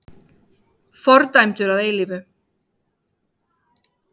Fordæmdur að eilífu!